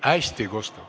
Jah, kostab hästi.